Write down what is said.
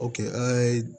an ye